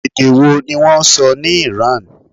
Èdè wo ni wọ́n sọ ní ìran?